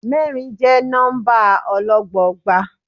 Mẹ́rin jẹ́ nọ́mbà ọlọ́gbọọgba.